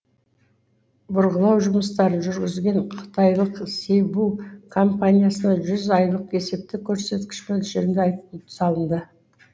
бұрғылау жұмыстарын жүргізген қытайлық си бу компаниясына жүз айлық есептік көрсеткіш мөлшерінде айыппұл салынды